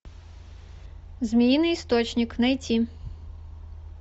змеиный источник найти